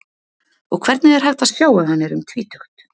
Og hvernig er hægt að sjá að hann er um tvítugt?